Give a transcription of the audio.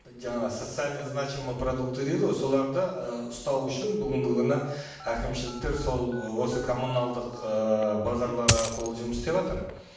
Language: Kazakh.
жаңа социально значимые продукты дейді ғой соларды ы ұсталу үшін бүгінгі күні әкімшіліктер сол осы коммуналдық ыыы базарлар арқылы жұмыс істеватыр